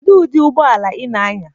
Kedụ ụdị ụgbọ ala ị na-anya?